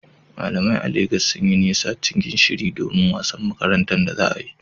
Malamai a Legas sun yi nisa cikin shiri don wasan makaranta da za a yi.